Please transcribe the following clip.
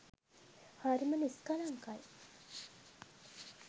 හරිම නිස්කලංකයි.